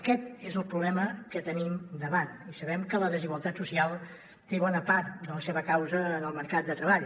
aquest és el problema que tenim davant i sabem que la desigualtat social té bona part de la seva causa en el mercat de treball